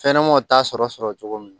Fɛnɲɛnɛmanw t'a sɔrɔ cogo min na